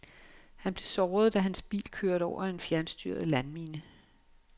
Han blev såret, da hans bil kørte over en fjernstyret landmine.